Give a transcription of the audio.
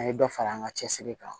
An ye dɔ fara an ka cɛsiri kan